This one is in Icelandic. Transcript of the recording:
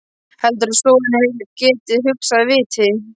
Heldurðu að soðinn heili geti hugsað af viti?